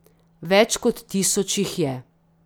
Več kot tisoč jih je.